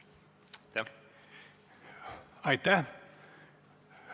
Aitäh!